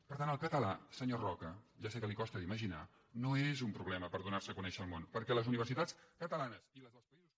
per tant el català senyor roca ja sé que li costa d’imaginar no és un problema per donar se a conèixer al món perquè les universitats catalanes i les dels països